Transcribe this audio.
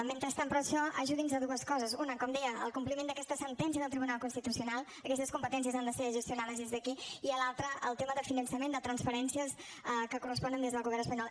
mentrestant per això ajudi’ns a dues coses una com deia al compliment d’aquesta sentència del tribunal constitucional aquestes competències han de ser gestionades des d’aquí i l’altra al tema de finançament de transferències que corresponen al govern espanyol